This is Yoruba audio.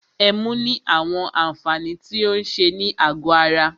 Ẹmu ní àwọn àǹfààní tí o ń ṣe ní àgọ ara.